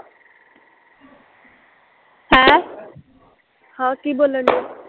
ਆਹ ਹਾਂ ਕੀ ਬੋਲਣ ਡਿਆ